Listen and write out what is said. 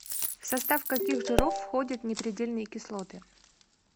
в состав каких жиров входят непредельные кислоты